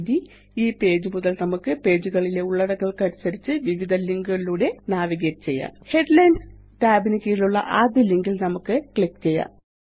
ഇനി ഈ പേജ് മുതല് നമുക്ക് ആ പേജുകളിലെ ഉള്ളടക്കങ്ങള്ക്കനുസരിച്ച് വിവിധ ലിങ്ക് കളിലൂടെ നാവിഗേറ്റ് ചെയ്യാം ഹെഡ്ലൈൻസ് tab ന് കീഴിലുള്ള ആദ്യ ലിങ്ക് ല് നമുക്ക് ക്ലിക്ക് ചെയ്യാം